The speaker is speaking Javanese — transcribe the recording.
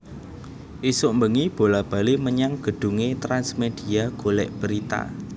Isuk mbengi bola bali menyang gedhunge Trans Media golek berita